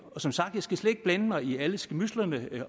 som sagt skal jeg ikke blande mig i alle skærmydslerne i